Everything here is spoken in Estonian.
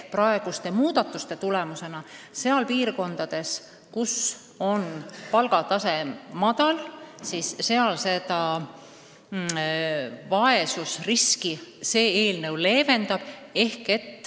Praeguste muudatuste tulemusena vaesusrisk piirkondades, kus palgatase on madal, leeveneb.